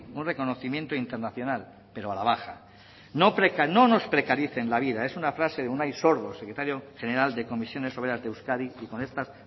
un reconocimiento internacional pero a la baja no nos precaricen la vida es una frase de unai sordo secretario general de comisiones obreras de euskadi y con estas